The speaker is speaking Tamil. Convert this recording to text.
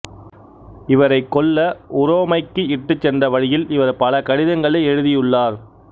இவரைக் கொல்ல உரோமைக்கு இட்டு சென்ற வழியில் இவர் பல கடிதங்களை எழுதியுள்ளார்